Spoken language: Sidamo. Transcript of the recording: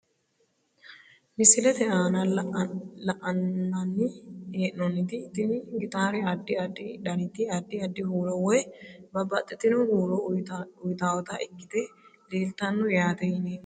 Misilete aana la`nani henomoti tini gitaare adi adi daniti adi adi huuro woyi babaxitino huuro uyitawota ikite leelitano yaate yineemo.